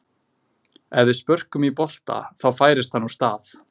Ef við spörkum í bolta þá færist hann úr stað.